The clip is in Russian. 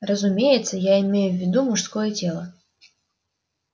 разумеется я имею в виду мужское тело